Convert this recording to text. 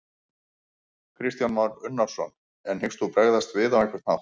Kristján Már Unnarsson: En hyggst þú bregðast við á einhvern hátt?